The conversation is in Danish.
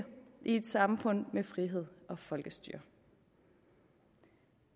et samfund med frihed og folkestyre